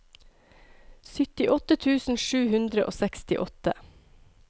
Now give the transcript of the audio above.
syttiåtte tusen sju hundre og sekstiåtte